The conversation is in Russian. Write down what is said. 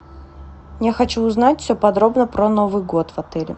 я хочу узнать все подробно про новый год в отеле